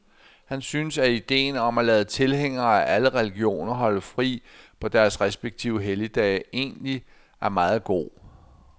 Han synes, at ideen om at lade tilhængere af alle religioner holde fri på deres respektive helligdage egentlig er meget god.